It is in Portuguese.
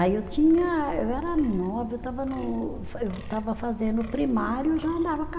Aí eu tinha, eu era nova, eu estava no, eu estava fazendo primário, eu já andava a